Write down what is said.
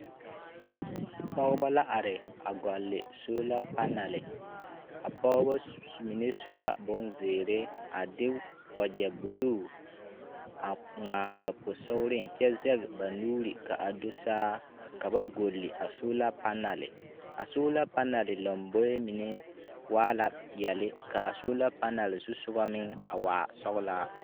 Pɔgebɔ la are a gɔlle soola panale. A pɔgebɔ s mine su la bonzeere a de wagyɛ buluu a ŋmaa ba posogereŋ kyɛ zɛge ba nuuri ka a do saa ka ba golli a soola panale. A soola panale lomboe mine waa la peɛle ka a soola panale zusogɔ meŋ a waa sɔgelaa.